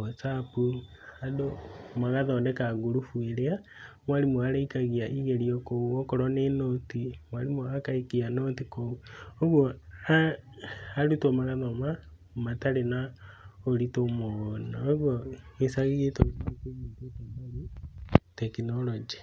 Whatsapp, andũ magathondeka ngurubu ĩrĩa arimũ marĩikagia igeranio kũo, okorwo nĩ nũti, mwarimũ agaikia nũti kũu. ũguo a arutwo magathomo matarĩ na ũritũ mũno. ũgwo gĩcagi gitũ nĩkĩnyitĩte mbaru tekinoronjĩ.